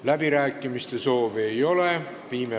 Läbirääkimiste soovi ei ole.